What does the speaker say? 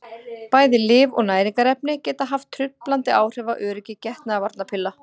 Bæði lyf og næringarefni geta haft truflandi áhrif á öryggi getnaðarvarnarpilla.